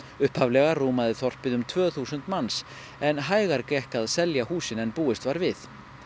upphaflega rúmaði þorpið um tvö þúsund manns en hægar gekk að selja húsin en búist var við